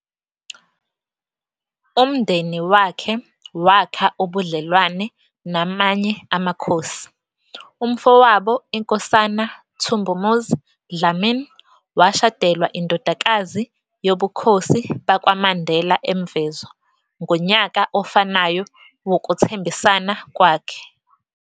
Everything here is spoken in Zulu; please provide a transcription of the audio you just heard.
Umndeni wakhe wakha ubudlelwane namanye amakhosi- umfowabo, iNkosana Thumbumuzi Dlamini, washadelwa indodakazi yobukhosi bakwa Mandela eMvezo ngonyaka ofanayo wokuthembisana kwakhe.